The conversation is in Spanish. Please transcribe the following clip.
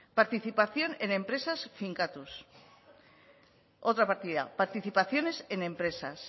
participación en empresas finkatuz otra partida participaciones en empresas